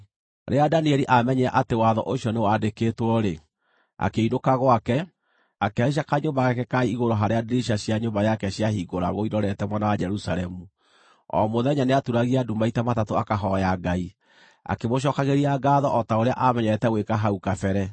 Rĩrĩa Danieli aamenyire atĩ watho ũcio nĩ wandĩkĩtwo-rĩ, akĩinũka gwake, akĩhaica kanyũmba gake ka igũrũ harĩa ndirica cia nyũmba yake ciahingũragwo irorete mwena wa Jerusalemu. O mũthenya, nĩatuuragia ndu maita matatũ akahooya Ngai, akĩmũcookagĩria ngaatho o ta ũrĩa aamenyerete gwĩka hau kabere.